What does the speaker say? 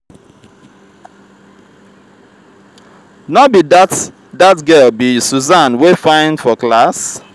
no be dat dat girl be susan wey fine for class